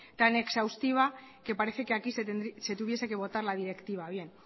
tan exhaustiva que parece que aquí se tuviese que votar la directiva